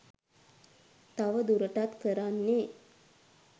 තව දුරටත් කරන්නේ